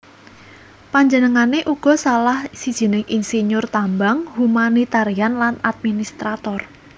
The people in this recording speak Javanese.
Panjenengané uga salah sijining insinyur tambang humanitarian lan administrator